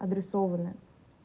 адресовано